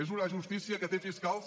és una justícia que té fiscals